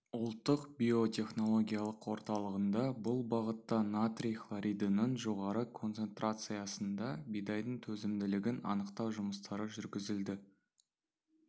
ұлттық биотехнологиялық орталығында бұл бағытта натрий хлоридінің жоғары концентрациясында бидайдың төзімділігін анықтау жұмыстары жүргізілді